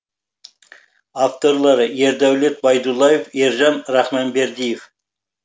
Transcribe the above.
авторлары ердәулет байдуллаев ержан рахманбердиев